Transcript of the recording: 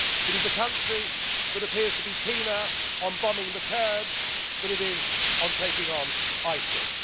Europe. It is a country that appears to be keener on bombing the Kurds than it is on taking on